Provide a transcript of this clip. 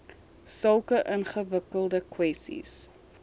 sulke ingewikkelde kwessies